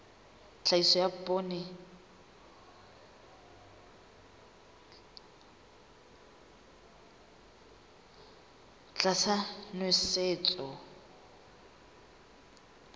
tlhahiso ya poone tlasa nosetso